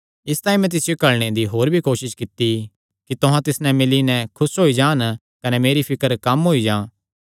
इसतांई मैं तिसियो घल्लणे दी होर भी कोसस कित्ती कि तुहां तिस नैं मिल्ली नैं खुस होई जा कने मेरी फिकर भी कम होई जां